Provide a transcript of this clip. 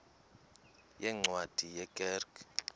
yeencwadi ye kerk